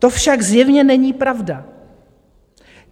To však zjevně není pravda.